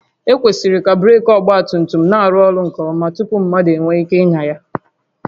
Ekwesịrị ka breeki ọgba tum tum na-arụ ọrụ nke ọma tupu mmadụ enwee ike ịnya ya